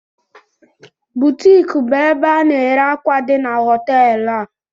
‘Buutiique’ bụ ebe a na-ere akwa di n'hoteelu a